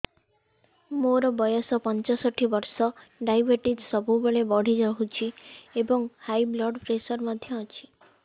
ମୋର ବୟସ ପଞ୍ଚଷଠି ବର୍ଷ ଡାଏବେଟିସ ସବୁବେଳେ ବଢି ରହୁଛି ଏବଂ ହାଇ ବ୍ଲଡ଼ ପ୍ରେସର ମଧ୍ୟ ଅଛି